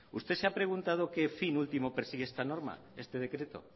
usted se ha preguntado que fin último persigue esta norma este decreto